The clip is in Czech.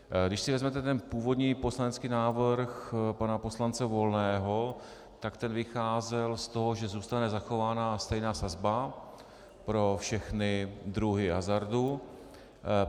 Když si vezmete ten původní poslanecký návrh pana poslance Volného, tak ten vycházel z toho, že zůstane zachována stejná sazba pro všechny druhy hazardu.